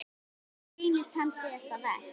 Það reynist hans síðasta verk.